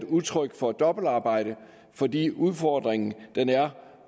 udtryk for dobbeltarbejde fordi udfordringen